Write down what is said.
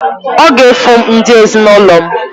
Ọ ga-efu m ndị ezinụlọ m.